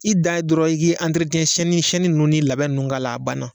I dan ye dɔrɔn i ki nunnu ni labɛn nunnu k'a la a banna.